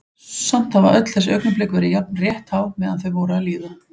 Samt hafa öll þessi augnablik verið jafn rétthá meðan þau voru að líða.